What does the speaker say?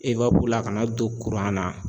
la ka n'a don na